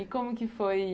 E como que foi?